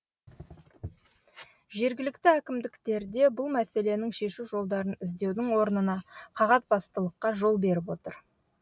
жергілікті әкімдіктерде бұл мәселенің шешу жолдарын іздеудің орнына қағазбастылыққа жол беріп отыр